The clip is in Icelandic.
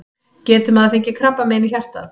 Getur maður fengið krabbamein í hjartað?